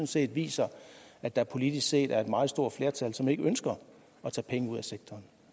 set viser at der politisk set er et meget stort flertal som ikke ønsker at tage penge ud af sektoren